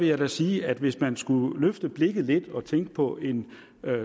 jeg da sige at hvis man skulle løfte blikket lidt og tænke på en